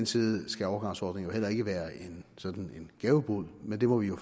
side skal overgangsordningen jo heller ikke være sådan en gavebod men det må vi jo